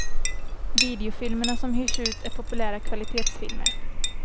Videofilmerna som hyrs ut är populära kvalitetsfilmer.